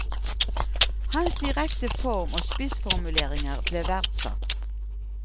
Hans direkte form og spissformuleringer ble verdsatt.